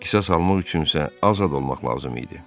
Qisas almaq üçün isə azad olmaq lazım idi.